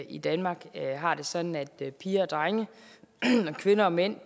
i danmark har det sådan at piger og drenge og kvinder og mænd